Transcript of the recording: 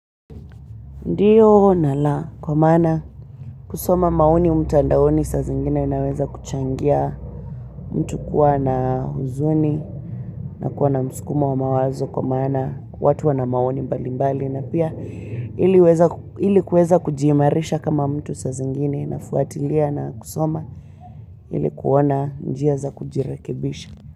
Ndiyo nala kwa mana kusoma maoni mtandaoni sa zingine inaweza kuchangia mtu kuwa na huzuni na kuwa na muskumo wa mawazo kwa maana watu wana maoni mbali mbali na pia ili kuweza kujiimarisha kama mtu saa zingine nafuatilia na kusoma ili kuona njia za kujirekebisha.